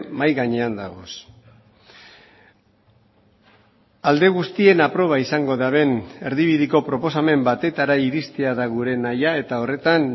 mahai gainean dagoz alde guztien aproba izango duten erdibideko proposamen batetara iristea da gure nahia eta horretan